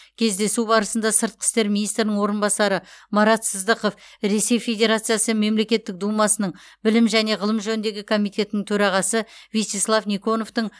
кездесу барысында сыртқы істер министрінің орынбасары марат сыздықов ресей федерациясы мемлекеттік думасының білім және ғылым жөніндегі комитетінің төрағасы вячеслав никоновтың